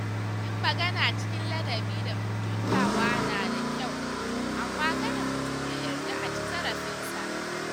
Yin magana cikin ladabi da mutuntawa nada kyau, amma kada mutum ya yarda a ci zarafinsa.